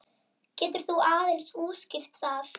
Getur þú aðeins útskýrt það?